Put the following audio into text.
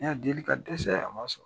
Ne y'a deli ka dɛsɛ a ma sɔn.